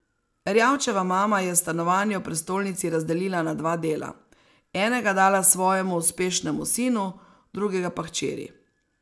Erjavčeva mama je stanovanje v prestolnici razdelila na dva dela, enega dala svojemu uspešnemu sinu, drugega pa hčeri.